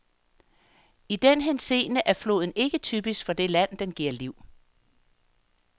I den henseende er floden ikke typisk for det land, den giver liv.